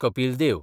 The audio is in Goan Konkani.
कपील देव